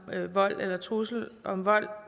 med vold eller trussel om vold